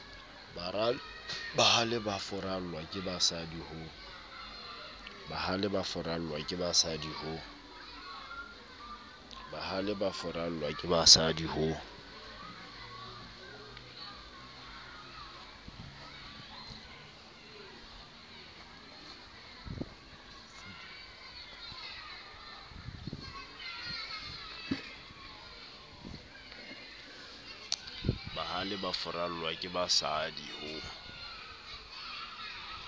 bahale ba furallwa kebasadi ho